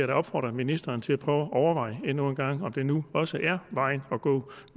da opfordre ministeren til at prøve at overveje endnu engang om det nu også er vejen at gå